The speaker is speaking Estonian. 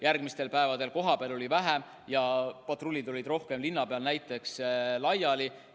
Järgmistel päevadel oli kohapeal politseinikke vähem ja patrullid olid rohkem linna peal laiali.